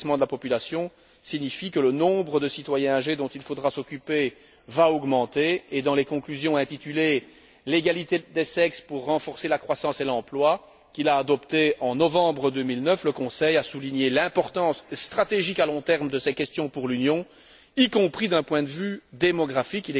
Le vieillissement de la population signifie que le nombre de citoyens âgés dont il faudra s'occuper va augmenter et, dans les conclusions intitulées L'égalité des sexes pour renforcer la croissance et l'emploi, qu'il a adoptées en novembre 2009, le Conseil a souligné l'importance stratégique à long terme de ces questions pour l'Union, y compris d'un point de vue démographique.